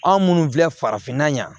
Anw minnu filɛ farafinna yan